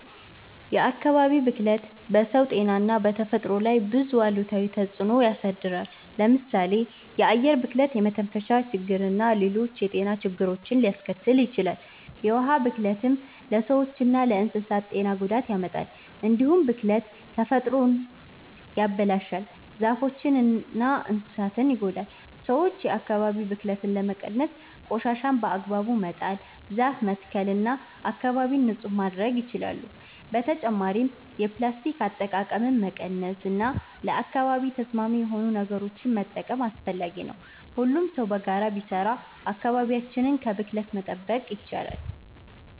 የአካባቢ ብክለት በሰው ጤና እና በተፈጥሮ ላይ ብዙ አሉታዊ ተጽዕኖ ያሳድራል። ለምሳሌ የአየር ብክለት የመተንፈሻ ችግርና ሌሎች የጤና ችግሮችን ሊያስከትል ይችላል። የውሃ ብክለትም ለሰዎችና ለእንስሳት ጤና ጉዳት ያመጣል። እንዲሁም ብክለት ተፈጥሮን ያበላሻል፣ ዛፎችንና እንስሳትን ይጎዳል። ሰዎች የአካባቢ ብክለትን ለመቀነስ ቆሻሻን በአግባቡ መጣል፣ ዛፍ መትከል እና አካባቢን ንጹህ ማድረግ ይችላሉ። በተጨማሪም የፕላስቲክ አጠቃቀምን መቀነስ እና ለአካባቢ ተስማሚ የሆኑ ነገሮችን መጠቀም አስፈላጊ ነው። ሁሉም ሰው በጋራ ቢሰራ አካባቢያችንን ከብክለት መጠበቅ ይቻላል።